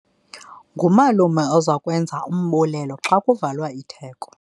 Ngumalume oza kwenza umbulelo xa kuvalwa itheko.